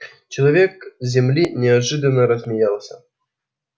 человек с земли неожиданно рассмеялся